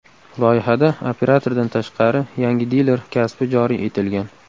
Loyihada operatordan tashqari yangi diler kasbi joriy etilgan.